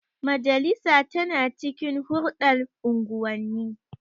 Majalisa tana cikin hulɗar unguwanni.